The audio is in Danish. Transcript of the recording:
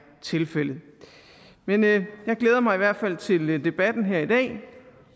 tilfældet men jeg glæder mig i hvert fald til debatten her i dag